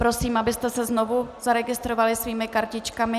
Prosím, abyste se znovu zaregistrovali svými kartičkami.